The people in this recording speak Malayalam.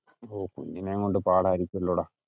ഓ കുഞ്ഞിനേം കൊണ്ട് പാടായിരിക്കുമല്ലോടാ?